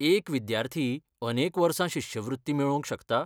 एक विद्यार्थी अनेक वर्सां शिश्यवृत्ती मेळोवंक शकता?